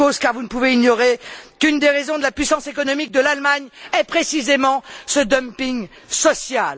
Et pour cause, car vous ne pouvez ignorer qu'une des raisons de la puissance économique de l'Allemagne est précisément ce dumping social.